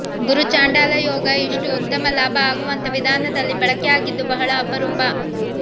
ಗುರುಚಾಂಡಾಲ ಯೋಗ ಇಷ್ಟು ಉತ್ತಮ ಲಾಭ ಆಗುವಂಥ ವಿಧಾನದಲ್ಲಿ ಬಳಕೆ ಆಗಿದ್ದು ಬಹಳ ಅಪರೂಪ